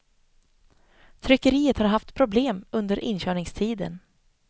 Tryckeriet har haft problem under inkörningstiden.